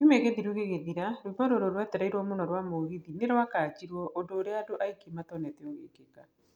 Kiumia gĩthiru gĩgĩthira, rwĩmbo rũrĩa rwetereiruo mũno rwa mũgithi nĩrwakanjiruo, ũndũ ũrĩa andũ aingi matonete ũgiũka.